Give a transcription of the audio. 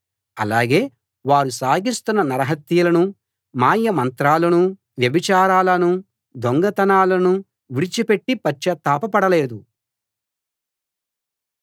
అలాగే వారు సాగిస్తున్న నరహత్యలనూ మాయమంత్రాలనూ వ్యభిచారాలనూ దొంగతనాలనూ విడిచిపెట్టి పశ్చాత్తాపపడలేదు